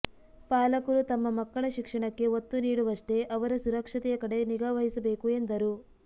ಪಾಲಕರು ತಮ್ಮ ಮಕ್ಕಳ ಶಿಕ್ಷಣಕ್ಕೆ ಒತ್ತು ನೀಡುವಷ್ಟೇ ಅವರ ಸುರಕ್ಷತೆಯ ಕಡೆ ನಿಗಾವಹಿಸಬೇಕು ಎಂದರು